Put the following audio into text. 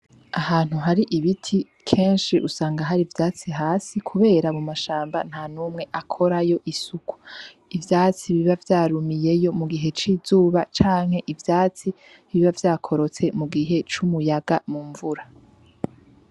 Ahantu hari ibiti kenshi usanga hari ivyatsi hasi kubera mu mashamba ntanumwe akorayo isuku. Ivyatsi biba vyarumiyeyo mu gihe c’izuba canke ivyatsi biba vyakorotse mu gihe c’umuyaga mu mvura.